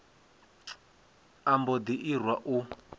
a mbo ḓi irwa u